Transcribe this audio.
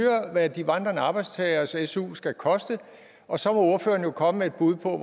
hvad de vandrende arbejdstageres su skal koste og så må ordføreren jo komme med et bud på